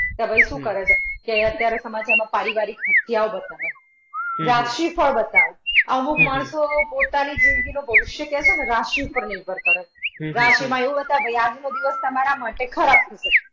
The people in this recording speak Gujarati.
તો ભાઈ શું કરે છે કે અત્યારે સમાચારમાં પારીવારિક હત્યાઓ બતાવે. રાશિ ફળ બતાવે. અમુક માણસો પોતાની જિંદગીનું ભવિષ્ય તે છે ને રાશિ ઉપર નિર્ભર કરે. રાશિમાં એવું બતાવે ભાઈ આજનો દિવસ તમારા માટે ખરાબ હશે.